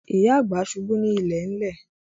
Ìyá àgbà ṣubú ní ilẹ̀lẹ̀